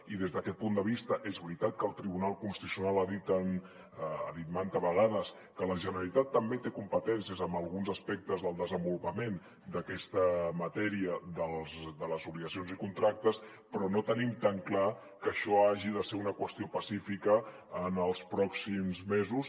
i des d’aquest punt de vista és veritat que el tribunal constitucional ha dit mantes vegades que la generalitat també té competències en alguns aspectes del desenvolupament d’aquesta matèria de les obligacions i contractes però no tenim tan clar que això hagi de ser una qüestió pacífica en els pròxims mesos